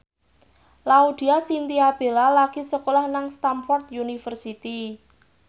Laudya Chintya Bella lagi sekolah nang Stamford University